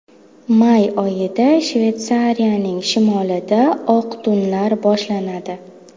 May oyida Shveysariyaning shimolida oq tunlar boshlanadi.